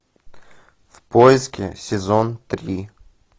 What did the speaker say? в поиске сезон три